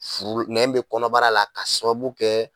Furu nɛn bɛ kɔnɔbara la k'a sababu kɛ.